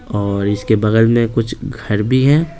और इसके बगल में कुछ घर भी हैं।